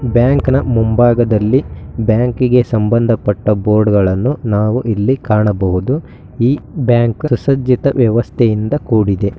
Bank ನ ಮುಂಭಾಗದಲ್ಲಿ ಬ್ಯಾಂಕಿಗೆ ಸಂಬಂಧಪಟ್ಟ ಬೋರ್ಡಗಳನ್ನು ನಾವು ಇಲ್ಲಿ ಕಾಣಬಹುದು ಈ ಬ್ಯಾಂಕ್ ಸುಸಜ್ಜಿತ ವ್ಯವಸ್ಥೆಯಿಂದ ಕೂಡಿದೆ.